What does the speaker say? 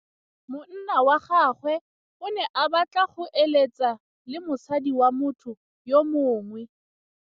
Monna wa gagwe o ne a batla go êlêtsa le mosadi wa motho yo mongwe.